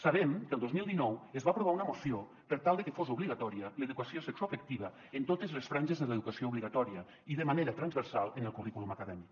sabem que el dos mil dinou es va aprovar una moció per tal de que fos obligatòria l’educació sexoafectiva en totes les franges de l’educació obligatòria i de manera transversal en el currículum acadèmic